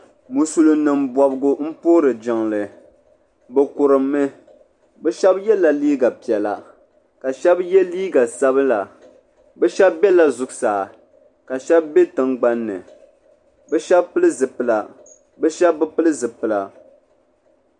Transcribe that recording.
Musulin nima bobgu m puhi jiŋli bɛ kurummi bɛ Sheba yɛla liiga piɛla ka Sheba ye liiga sabla bɛ Sheba be la zuɣusaa ka Sheba be tingbanni bɛ Sheba pili zipila bɛ Sheba bi pili zipila.